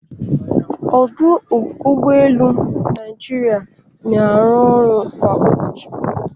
Ọdụ Ụgbọ elu Naijiria na-arụ ọrụ kwa ụbọchị